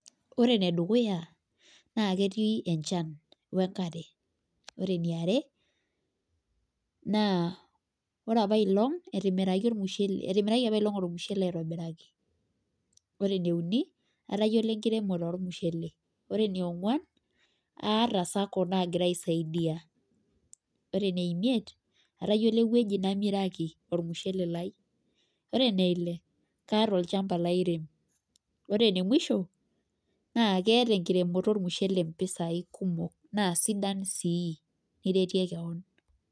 Ore ene dukuya na aketii enchan we nkare. ore eniare, etimiraki apae long ormusheele aitobiraki, ore eneuni, atayiolo enkiremore ormushel. ore enionguan, aata sacco naagira aisaidia ore ,eneimiet atayiolo entoki naamiraki olmusshele lai. ore eneile kaata olchampa laire. Ore ene musho naa keeta enkiremoto olmusshele mpisai kumok naa sidan sii iretie kewon.